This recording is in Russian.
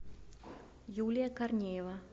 юлия корнеева